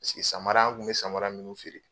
samara an kun be samara minnu feere